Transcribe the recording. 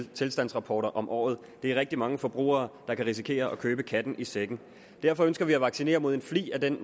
tilstandsrapporter om året det er rigtig mange forbrugere der kan risikere at købe katten i sækken derfor ønsker vi at vaccinere mod en flig af den